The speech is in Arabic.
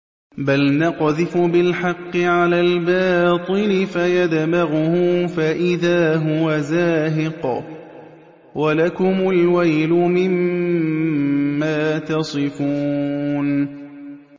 بَلْ نَقْذِفُ بِالْحَقِّ عَلَى الْبَاطِلِ فَيَدْمَغُهُ فَإِذَا هُوَ زَاهِقٌ ۚ وَلَكُمُ الْوَيْلُ مِمَّا تَصِفُونَ